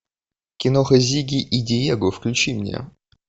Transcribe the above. киноха зигги и диего включи мне